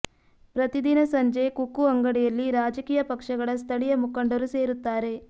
ಪ್ರತಿ ದಿನ ಸಂಜೆ ಕುಕ್ಕು ಅಂಗಡಿಯಲ್ಲಿ ರಾಜಕೀಯ ಪಕ್ಷಗಳ ಸ್ಥಳೀಯ ಮುಖಂಡರು ಸೇರುತ್ತಾರೆ